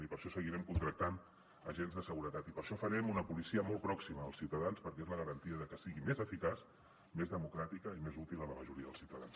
i per això seguirem contractant agents de seguretat i per això farem una policia molt pròxima als ciutadans perquè és la garantia de que sigui més eficaç més democràtica i més útil a la majoria dels ciutadans